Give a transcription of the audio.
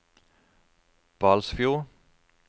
Balsfjord